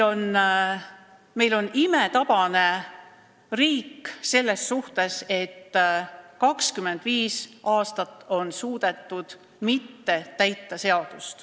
Meil on imetabane riik selles mõttes, et 25 aastat on suudetud seadust mitte täita.